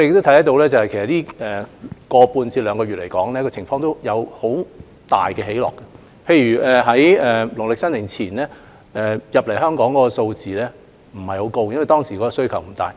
在這一個多月至兩個月以來，情況有很大的變化，例如在農曆新年前，有關物資進口香港的數量不高，因為當時的需求不大。